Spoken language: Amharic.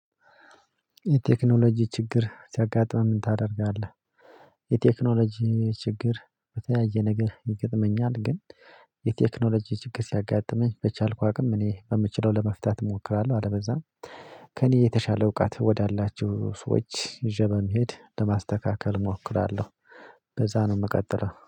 የቴክኖሎጂ ችግር ሲያጋጥምህ ምን ታደርጋለህ? የቴክኖሎጂ ችግር በተያየ ነገር ይገጥመኛል ግን የቴክኖሎጂ ችግር ሲያጋጥመኝ በቻልኩ አቅም እኔ በምችለው ለመፍታት እሞክራለሁ። አለበለዚያ ከእኔ የተሻለ እውቀት ወዳላችሁ ሰዎች ይዤ በመሄድ ለማስተካከል እሞክራለሁ። እንደዛ ነው የምቀጥለው